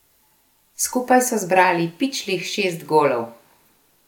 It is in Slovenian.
Skupaj so zbrali pičlih šest golov!